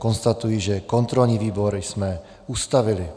Konstatuji, že kontrolní výbor jsme ustavili.